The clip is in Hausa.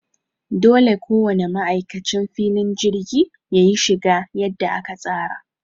Dole ko wane ma'aikacin filin jirgi yayi shiga yadda aka tsara.